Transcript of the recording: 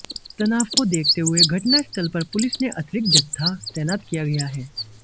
तनाव को देखते हुए घटनास्थल पर पुलिस ने अतिरिक्त जत्था तैनात किया गया है